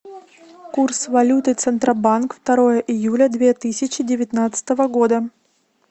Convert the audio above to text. курс валюты центробанк второе июля две тысячи девятнадцатого года